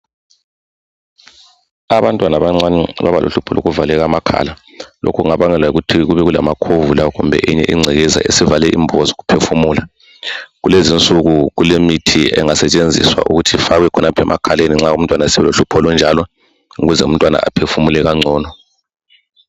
Abantwana abancane babalohkupho lokuvaleka amakhala lokhu kungabangelwa yikuthi kube kulamakhovula kumbe ingcekeza esivale imbobo zokuphefumula. Kulezi insuku kulemithi engasetshenziswa ukuthi ifakwe emakhaleni nxa eselohlupho olunjalo ukuze aphefumule kangcono.